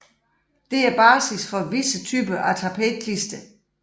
Dette er basis for visse typer af tapetklister